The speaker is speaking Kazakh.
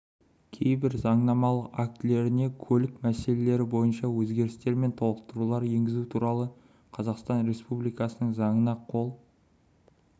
кейбір заңнамалық актілеріне көлік мәселелері бойынша өзгерістер мен толықтырулар енгізу туралы қазақстан республикасының заңына қол